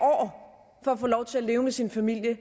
for at få lov til at leve med sin familie